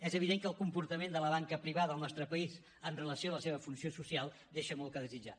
és evident que el comportament de la banca privada al nostre país amb relació a la seva funció social deixa molt que desitjar